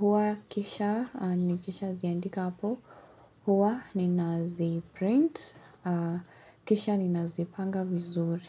Huhakikisha, nikishaziandika hapo. Huwa nina zi print. Kisha nina zipanga vizuri.